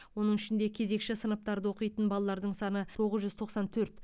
оның ішінде кезекші сыныптарда оқитын балалардың саны тоғыз жүз тоқсан төрт